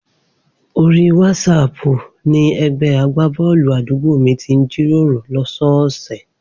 Orí wásaàpù ni ẹgbẹ́ agbábọ́ọ̀lù àdúgbò mi ti ń jíròrò lọ́sọ́ọ̀ọ̀sẹ̀.